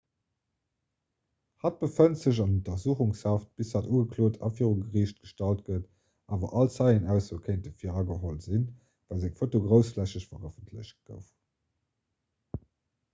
hatt befënnt sech an untersuchungshaft bis hatt ugeklot a viru geriicht gestallt gëtt awer all zeienaussoe kéinte virageholl sinn well seng foto groussflächeg verëffentlecht gouf